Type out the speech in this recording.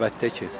Əlbəttə ki.